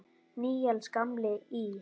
Níels gamli í